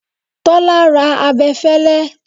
Tọ́lá ra abẹfẹlẹ.